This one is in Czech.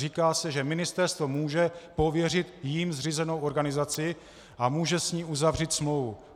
Říká se, že ministerstvo může pověřit jím zřízenou organizaci a může s ní uzavřít smlouvu.